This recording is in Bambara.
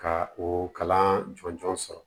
Ka o kalan jɔnjɔn sɔrɔ